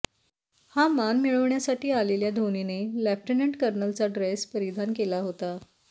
हा मान मिळवण्यासाठी आलेल्या धोनीने लेफ्टनंट कर्नलचा ड्रेस परिधान केला होता